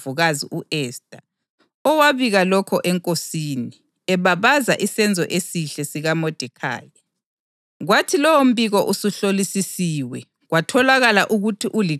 Kodwa uModekhayi wakuzwa ababekuceba wasetshela iNdlovukazi u-Esta, owabika lokho enkosini, ebabaza isenzo esihle sikaModekhayi.